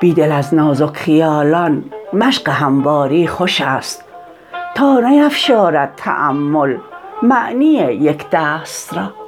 بیدل ازنازک خیالان مشق همواری خوش است تا نیفشارد تأمل معنی یکدست را